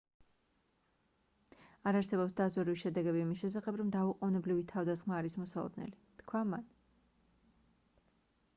არ არსებობს დაზვერვის შედეგები იმის შესახებ რომ დაუყოვნებლივი თავდასხმა არის მოსალოდნელი - თქვა მან